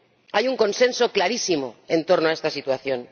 Hay un consenso clarísimo en torno a esta situación.